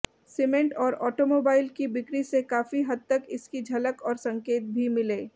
cement और automobile की बिक्री से काफी हद तक इसकी झलक और संकेत भी मिले